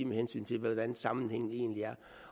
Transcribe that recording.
med hensyn til hvordan sammenhængen egentlig er